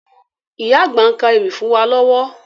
Ìyá àgbà ń ka ewì fún wa lọ́wọ́